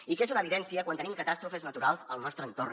i que és una evidència quan tenim catàstrofes naturals al nostre entorn